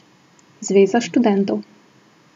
Zveza študentov.